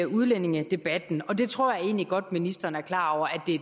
udlændingedebatten og det tror jeg egentlig godt ministeren er klar over